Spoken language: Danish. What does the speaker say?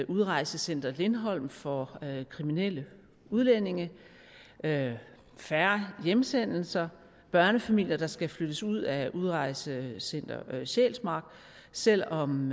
udrejsecenter lindholm for kriminelle udlændinge færre hjemsendelser børnefamilier der skal flyttes ud af udrejsecenter sjælsmark selv om